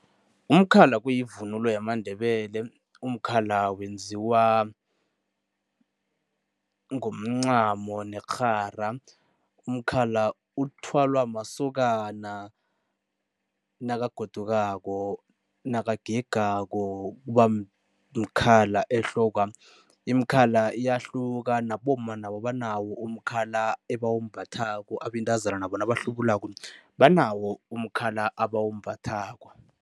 Umkhala kuyivunulo yamaNdebele. Umkhala wenziwa ngomncamo nerhara. Umkhala uthwalwa masokana nakagodukako, nakagegako, kuba mkhala ehlokwa. Imikhala iyahluka, nabomma nabo banawo umkhala ebawumbathako, abentazana nabo nabahlubulako banawo umkhala abawumbathako.